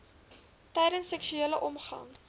tydens seksuele omgang